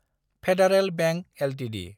federal Bank Ltd